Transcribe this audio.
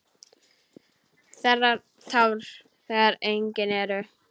Þerrar tár þegar engin eru.